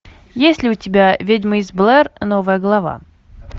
есть ли у тебя ведьма из блэр новая глава